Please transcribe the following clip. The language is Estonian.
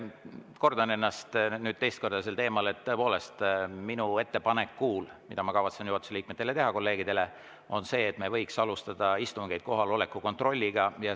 Kordan ennast nüüd teist korda sel teemal, et tõepoolest, minu ettepanek, mille ma kavatsen juhatuse liikmetele, kolleegidele teha, on see, et me võiks alustada istungeid kohaloleku kontrolliga.